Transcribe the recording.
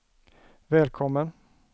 välkommen